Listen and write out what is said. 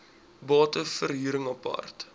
bate verhuring apart